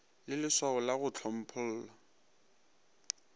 le lswao la go hlomphollwa